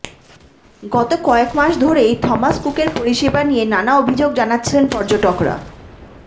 গত কয়েক মাস ধরেই থমাস কুকের পরিষেবা নিয়ে নানা অভিযোগ জানাচ্ছিলেন পর্যটকরা